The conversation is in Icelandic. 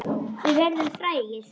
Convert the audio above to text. Við verðum frægir.